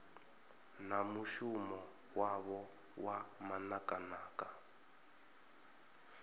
na mushumo wavho wa manakanaka